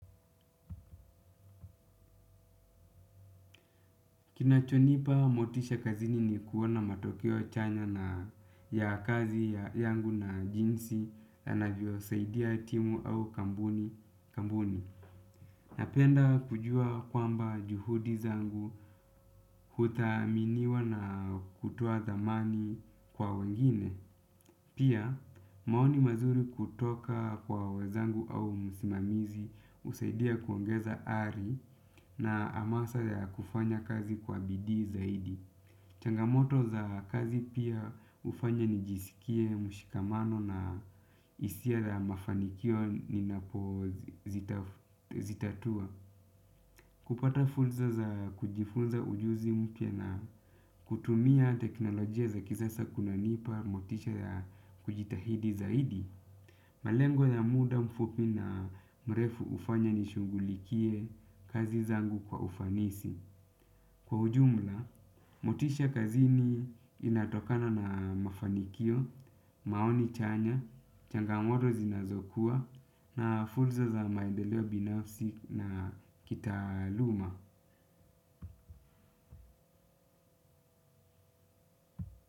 Kinachonipa motisha kazini ni kuona matokeo chanya na ya kazi yangu na jinsi anavyo saidia timu au kambuni. Napenda kujua kwamba juhudi zangu kuthaminiwa na kutoa dhamani kwa wengine. Pia maoni mazuri kutoka kwa wenzangu au msimamizi husaidia kuongeza ari na hamasa ya kufanya kazi kwa bidii zaidi. Changamoto za kazi pia hufanya nijisikie, mshikamano na hisia za mafanikio ninapo zitatua. Kupata fursa za kujifunza ujuzi mpya na kutumia teknolojia za kisasa kunanipa motisha ya kujitahidi zaidi. Malengo ya muda mfupi na mrefu hufanya nishungulikie kazi zangu kwa ufanisi. Kwa ujumla, motisha kazini inatokana na mafanikio, maoni chanya, changamoto zinazokuwa na fursa za maendeleo binafsi na kitaluma.